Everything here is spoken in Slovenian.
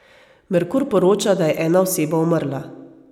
Merkur poroča, da je ena oseba umrla.